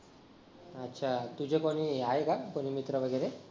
अच्छा तुझे कोणी आहे का कोणी मित्र वैगरे